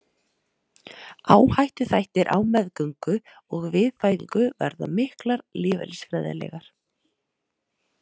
Áhættuþættir Á meðgöngu og við fæðingu verða miklar lífeðlisfræðilegar.